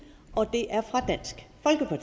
fra